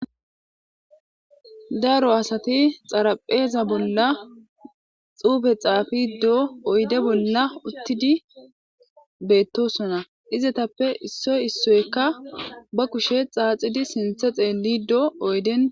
daaro asati xarapheeza bolla xuufe xaafiidoo oyde bolla uttidi beettosona izetappe issoy issoykka ba kushe xaaxidi sinthe xeellidoo oyden